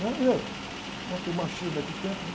e aí? Não, é que o machismo naquele tempo, não.